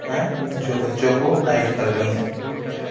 हे जो बच्चों को गाइड कर रही हैं।